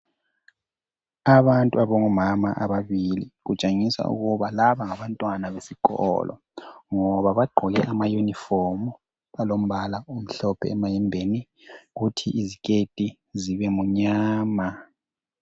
Abantu abangomama ababili kutshengisa ukuthi laba ngabantwana besikolo ngoba bagqkoke amayunifomu alombala omhlophe emayembeni kuthi iziketi zibemnyama.